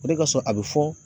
O de kasɔ a be fɔ